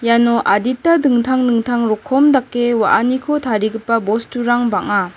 iano adita dingtang dingtang rokom dake wa·aniko tarigipa bosturang bang·a.